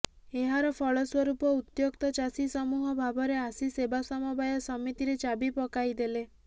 ଏହାର ଫଳ ସ୍ୱରୂପ ଉତ୍ୟକ୍ତ ଚାଷୀ ସମୂହ ଭାବରେ ଆସି ସେବା ସମବାୟ ସମିତିରେ ଚାବି ପକାଇଦେଲେ